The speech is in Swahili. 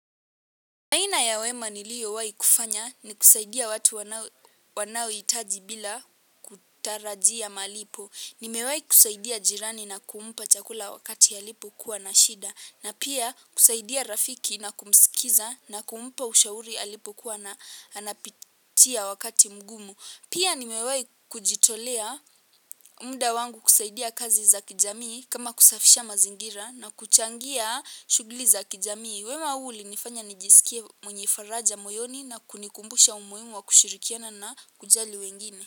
Aina ya wema niliowai kufanya ni kusaidia watu wanaoitaji bila kutarajia malipo. Nimewai kusaidia jirani na kumpa chakula wakati alipokuwa na shida. Na pia kusaidia rafiki na kumsikiza na kumpa ushauri alipokuwa na anapitia wakati mgumu. Pia nimewai kujitolea mda wangu kusaidia kazi za kijamii kama kusafisha mazingira na kuchangia shughli za kijamii. Wema huu ulinifanya nijisikie mwenye faraja moyoni na kunikumbusha umuhimu wa kushirikiana na kujali wengine.